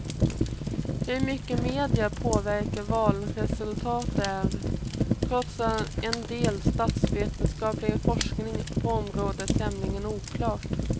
Hur mycket media påverkar valresultatet är, trots en del statsvetenskaplig forskning på området, tämligen oklart.